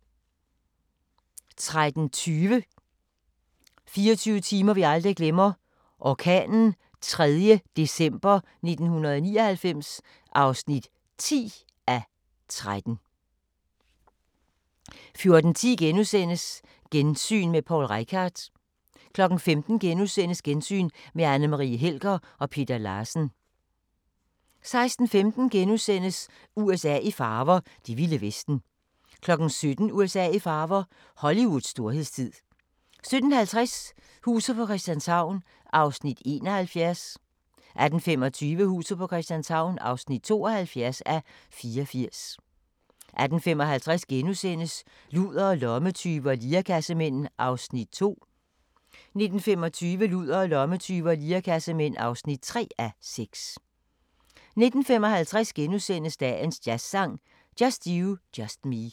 13:20: 24 timer vi aldrig glemmer – orkanen 3. december 1999 (10:13) 14:10: Gensyn med Poul Reichhardt * 15:00: Gensyn med Anne Marie Helger og Peter Larsen * 16:15: USA i farver – det vilde vesten * 17:00: USA i farver – Hollywoods storhedstid 17:50: Huset på Christianshavn (71:84) 18:25: Huset på Christianshavn (72:84) 18:55: Ludere, lommetyve og lirekassemænd (2:6)* 19:25: Ludere, lommetyve og lirekassemænd (3:6) 19:55: Dagens jazzsang: Just you, just me *